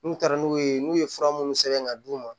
N'u taara n'u ye n'u ye fura minnu sɛbɛn ka d'u ma